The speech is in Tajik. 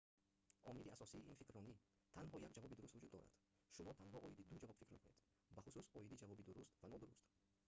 омили асосии ин фикрронӣ танҳо як ҷавоби дуруст вуҷуд дорад шумо танҳо оиди ду ҷавоб фикр мекунед бахусус оиди ҷавоби дуруст ва нодуруст